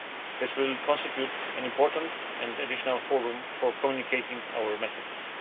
This will constitute an important and additional forum for communicating our messages.